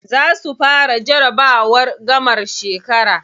Za su fara jarabawar gamar shekara.